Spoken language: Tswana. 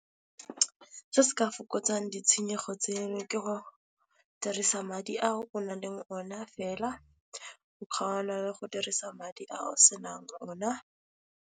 Se se ka fokotsang ditshenyego tseno ke go dirisa madi a o nang le ona fela go kgaola le go dirisa madi a o senang ona.